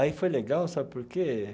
Aí foi legal, sabe por quê?